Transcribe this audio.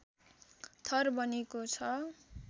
थर बनेको छ